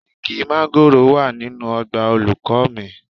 Igi máńgòrò wà nínú ọgbà olùkọ́ mi